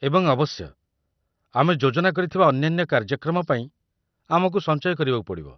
ଏବଂ ଅବଶ୍ୟ, ଆମେ ଯୋଜନା କରିଥିବା ଅନ୍ୟାନ୍ୟ କାର୍ଯ୍ୟକ୍ରମ ପାଇଁ ଆମକୁ ସଞ୍ଚୟ କରିବାକୁ ପଡ଼ିବ।